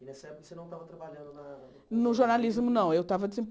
E nessa época você não estava trabalhando na... No jornalismo, não eu estava